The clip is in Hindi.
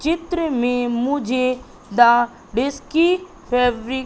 चित्र में मुझे द विस्की --